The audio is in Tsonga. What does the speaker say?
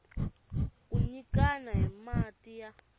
ku nyikana hi mati ya